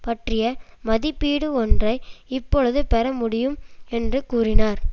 பற்றிய மதிப்பீடு ஒன்றை இப்பொழுது பெற முடியும் என்று கூறினார்